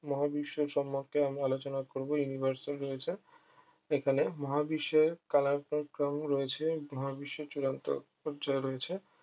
মহাবিশ্ব সমন্ধে আমি আলোচনা করবো universal রয়েছে এখানে মহাবিশ্বে রয়েছে মহাবিশ্বে চূড়ান্ত পর্যায় রয়েছে